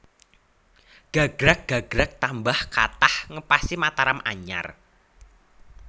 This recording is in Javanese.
Gagrag gagrag tambah kathah ngepasi Mataram anyar